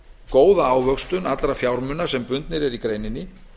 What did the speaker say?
góða ávöxtun allra fjármuna sem bundnir eru í greininni